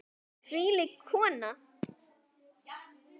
Þvílík kona.